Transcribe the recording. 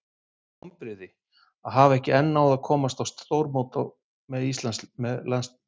Mestu vonbrigði?: Að hafa enn ekki náð að komast á stórmót með landsliðinu.